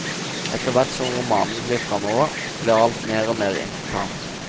Etterhvert som romanen glir framover, blir alt mer og mer intrikat.